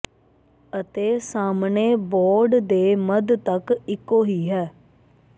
ਅਤੇ ਸਾਹਮਣੇ ਬੋਰਡ ਦੇ ਮੱਧ ਤੱਕ ਇੱਕੋ ਹੀ ਹੈ